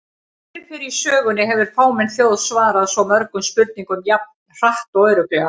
Aldrei fyrr í sögunni hefur fámenn þjóð svarað svo mörgum spurningum jafn hratt og örugglega!